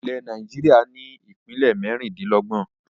Ilẹ̀ Nàìjíríà ni ìpínlẹ́ mẹ́rindìnlọ́gbọ̀n